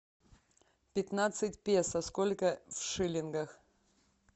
пятнадцать песо сколько в шиллингах